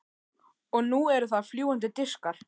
Og nú eru það fljúgandi diskar.